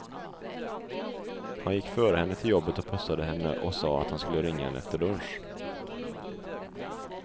Han gick före henne till jobbet och pussade henne och sa att han skulle ringa henne efter lunch.